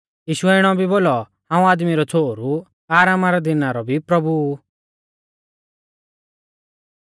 यीशुऐ इणौ भी बोलौ हाऊं आदमी रौ छ़ोहरु आरामा रै दिना रौ भी प्रभु ऊ